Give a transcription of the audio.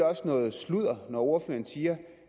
også noget sludder når ordføreren siger